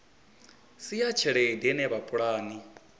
si ya tshelede ine vhapulani